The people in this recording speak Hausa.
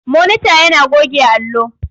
Monita yana goge allo.